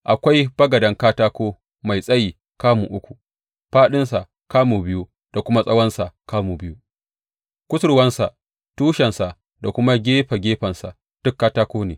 Akwai bagaden katako mai tsayi kamu uku, fāɗinsa kamu biyu da kuma tsawonsa kamu biyu; kusurwansa, tushensa da kuma gefe gefensa duk katako ne.